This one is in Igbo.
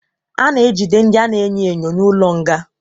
A na-ejide ndị a na-enyo enyo n'ụlọ nga.